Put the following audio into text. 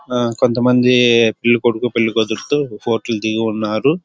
కొంతమంది పెళ్ళికొడుకు పెళ్ళికూతురుతో ఫోటో ల్ దిగి ఉన్నారు.